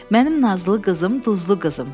Mənim nazlı qızım, duzlu qızım.